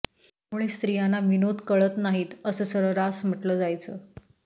त्यामुळे स्त्रियांना विनोद कळत नाही असं सर्रास म्हटलं जायचं